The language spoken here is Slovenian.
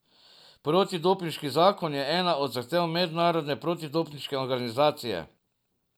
Protidopinški zakon je ena od zahtev Mednarodne protidopinške organizacije.